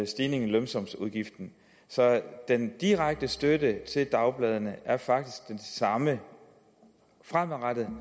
stigningen i lønsumsafgiften så den direkte støtte til dagbladene er faktisk den samme fremadrettet